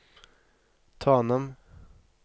Tanem